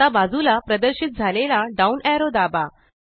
आता बाजूला प्रदर्शित झालेला डाउन एरो दाबा